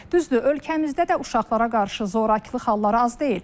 Düzdür, ölkəmizdə də uşaqlara qarşı zorakılıq halları az deyil.